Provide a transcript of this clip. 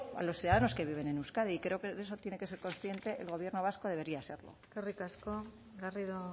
a los ciudadanos que viven en euskadi creo que de eso se tiene que ser consciente el gobierno vasco debería serlo eskerrik asko garrido